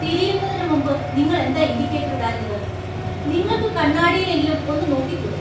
തിരിയുന്നതിനുമുമ്പ് നിങ്ങൾ എന്താ ഇൻഡിക്കേറ്റർ ഇടാഞ്ഞത്? നിങ്ങൾക്ക് കണ്ണാടിയിലെങ്കിലും ഒന്ന് നോക്കിക്കൂടെ?